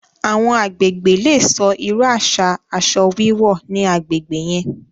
Awọn agbègbè lè sọ̀ irú aṣa aṣọ wíwọ̀ ní agbègbè yẹn